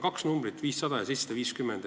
Üks on 500 ja teine on 750.